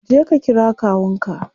Je ka kira kawun ka.